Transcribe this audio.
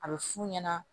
A bɛ f'u ɲɛna